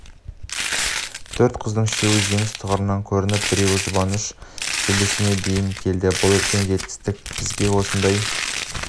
төрт қыздың үшеуі жеңіс тұғырынан көрініп біреуі жұбаныш белдесуіне дейін келді бұл үлкен жетістік бізге осындай